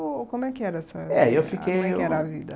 Ou como é que era essa... É, eu fiquei, era a vida